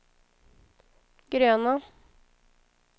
gröna